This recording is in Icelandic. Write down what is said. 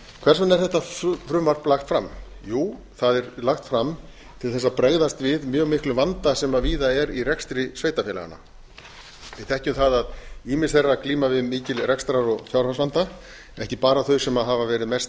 hvers vegna er þetta frumvarp lagt fram jú það er lagt fram til þess að bregðast við mjög miklum vanda sem víða er í rekstri sveitarfélaganna við þekkjum það að ýmis þeirra glíma við mikinn rekstrar og fjárhagsvanda ekki bara þau sem hafa verið mest